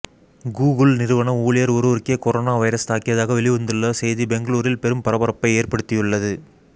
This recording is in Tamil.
கூகுள் நிறுவன ஊழியர் ஒருவருக்கே கொரோனா வைரஸ் தாக்கியதாக வெளிவந்துள்ள செய்தி பெங்களூரில் பெரும் பரபரப்பை ஏற்படுத்தியுள்ளது